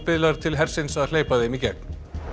biðlar til hersins að hleypa þeim í gegn